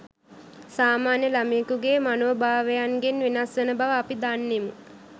සාමාන්‍ය ළමයෙකුගේ මනෝභාවයන්ගෙන් වෙනස් වන බව අපි දන්නෙමු